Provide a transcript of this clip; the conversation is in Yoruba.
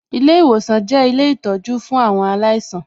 Ilé ìwòsan jẹ́ ilé ìtọjú fún àwọn aláìsàn